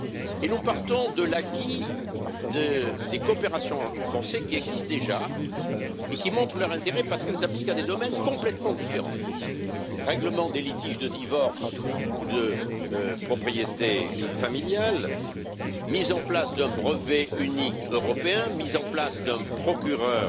Et nous partons de l'acquis des coopérations renforcées déjà existantes et qui montrent leur intérêt parce qu'elles s'appliquent à des domaines complètement différents règlement des litiges de divorce ou de propriété familiale, mise en place d'un brevet unique européen, mise en place d'un procureur